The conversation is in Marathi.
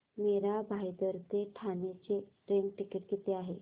मीरा भाईंदर ते ठाणे चे ट्रेन टिकिट किती आहे